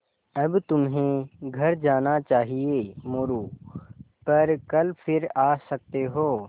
अब तुम्हें घर जाना चाहिये मोरू पर कल फिर आ सकते हो